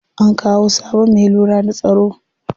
An kawo sabon me lura da tsaro.